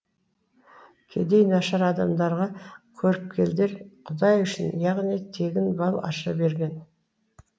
кедей нашар адамдарға көріпкелдер құдай үшін яғни тегін бал аша берген